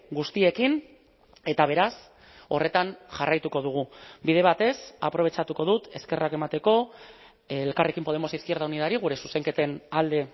guztiekin eta beraz horretan jarraituko dugu bide batez aprobetxatuko dut eskerrak emateko elkarrekin podemos izquierda unidari gure zuzenketen alde